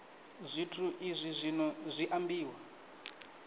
zwithu izwi zwino zwi ambiwa